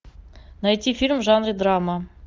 найти фильм в жанре драма